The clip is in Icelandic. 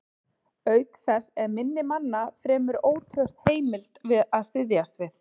Auk þess er minni manna fremur ótraust heimild að styðjast við.